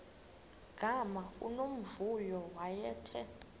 gama unomvuyo wayethe